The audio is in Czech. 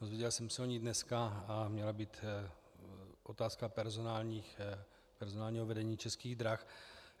Dozvěděl jsem se o ní dneska a měla být otázka personálního vedení Českých drah.